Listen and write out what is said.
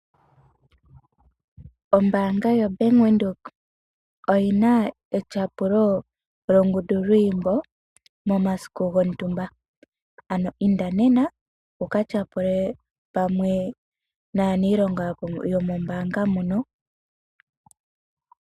Ombaanga ya bank Windhoek oyina o ngundu lwiimbo momasiku go ntumba . Inda nena wuka tyapule pamwe naaniilonga yomombaanga moka.